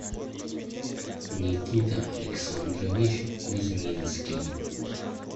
никита александрович кузьминский